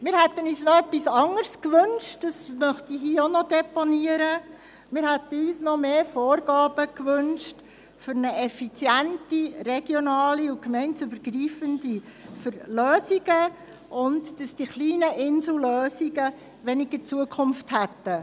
Ich möchte hier allerdings auch deponieren, dass wir uns noch mehr Vorgaben für effiziente, regionale und gemeindeübergreifende Lösungen gewünscht und dass die kleinen Insellösungen weniger Zukunft haben.